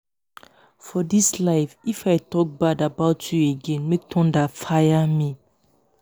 for this life if i talk bad about you againmake thunder fire me